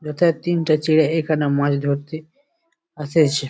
যেথায় তিনটে ছেলে এখানে মাছ ধরতে আসেছে ।